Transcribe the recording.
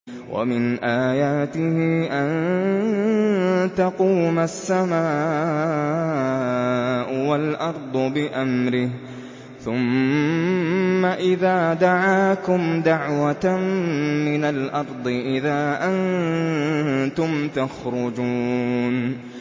وَمِنْ آيَاتِهِ أَن تَقُومَ السَّمَاءُ وَالْأَرْضُ بِأَمْرِهِ ۚ ثُمَّ إِذَا دَعَاكُمْ دَعْوَةً مِّنَ الْأَرْضِ إِذَا أَنتُمْ تَخْرُجُونَ